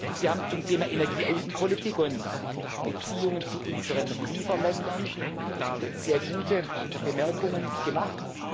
soll. Sie haben zu den Themen Energieaußenpolitik und Beziehungen zu unseren Lieferländern sehr gute Bemerkungen gemacht.